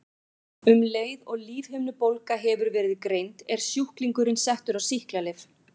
Um leið og lífhimnubólga hefur verið greind er sjúklingurinn settur á sýklalyf.